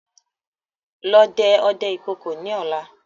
Lọ dẹ ọdẹ ìkookò ni ọ̀la!